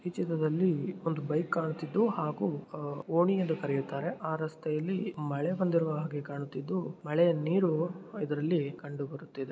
ಈ ಚಿತ್ರದಲ್ಲಿ ಒಂದು ಬೈಕ್ ಕಾಣುತ್ತಿದ್ದು ಹಾಗು ಅ ಓಣಿ ಎಂದು ಕರೆಯುತ್ತಾರೆ ಆ ರಸ್ತೆ ಅಲ್ಲಿ ಮಳೆ ಬಂದಿರೋ ಹಾಗೆ ಕಾಣುತ್ತಿದ್ದು ಮಳೆಯ ನೀರು ಇದರಲ್ಲಿ ಕಂಡು ಬರುತಿದೆ.